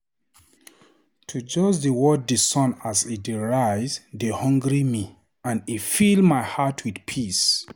To just dey watch di sun as e dey rise dey hungry me and e fill my heart with peace.